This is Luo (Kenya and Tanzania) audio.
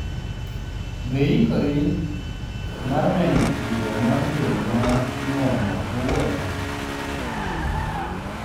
Be iikori mar neno tugo mar dwe ma inuang'o kawuono?